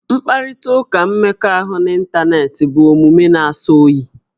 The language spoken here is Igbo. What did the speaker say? Mkparịtaụka mmekọahụ n'ịntaneetị bụ omume na-asọ oyi